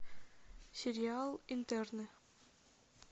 сериал интерны